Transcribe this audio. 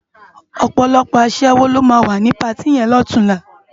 Òpòlòpò aṣèwó ló má wá ni párti yèn lòtúnlá